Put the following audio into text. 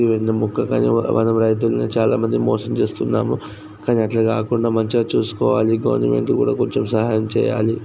ఇవేందో మొక్కలు అవుతుందని చాలా మందిని మోసం చేస్తున్నాము. కానీ అట్లా కాకుండా మంచిగా చూసుకోవాలి. గవర్నమెంట్ కూడా కొంచెం సహాయం చెయ్యాలి.